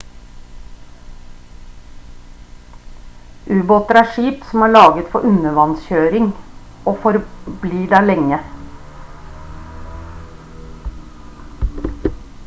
ubåter er skip som er laget for undervanns kjøring og for bli der lenge